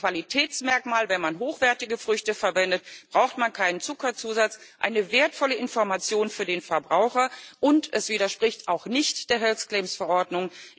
Das ist ein Qualitätsmerkmal wenn man hochwertige Früchte verwendet, braucht man keinen Zuckerzusatz eine wertvolle Information für den Verbraucher, und es widerspricht auch nicht der Health Claims V erordnung.